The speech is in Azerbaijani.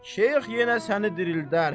Şeyx yenə səni dirildər.